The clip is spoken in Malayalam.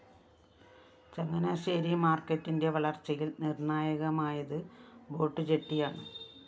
ചങ്ങനാശ്ശേരി മാര്‍ക്കറ്റിന്റെ വളര്‍ച്ചയില്‍ നിര്‍ണ്ണായകമായത് ബോട്ടുജെട്ടിയാണ്